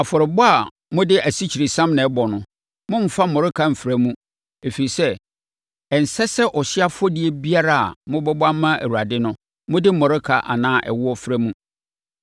“ ‘Afɔrebɔ a mode asikyiresiam na ɛbɔ no, mommfa mmɔreka mfra mu, ɛfiri sɛ, ɛnsɛ sɛ ɔhyeɛ afɔdeɛ biara a mobɛbɔ ama Awurade no, mode mmɔreka anaa ɛwoɔ fra mu.